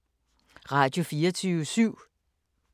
Radio24syv